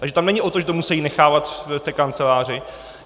Takže tam není o tom, že to musejí nechávat v té kanceláři.